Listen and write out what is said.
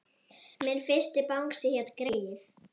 Minn fyrsti bangsi hét Greyið.